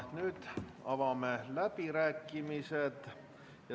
Nüüd avame läbirääkimised.